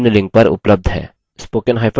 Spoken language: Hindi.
इस पर अधिक जानकारी निम्न लिंक पर उपलब्ध है